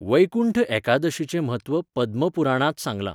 वैकुण्ठ एकादशीचें म्हत्व पद्मपुराणांत सांगलां.